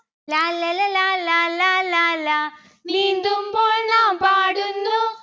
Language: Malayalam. ലാല്ലല ലാലാ ലാലാ ലാ. നീന്തുമ്പോൾ നാം പാടുന്നു